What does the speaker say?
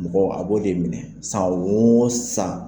Mɔgɔ a b'o de minɛ san o san.